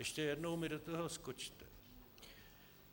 Ještě jednou mi do toho skočte.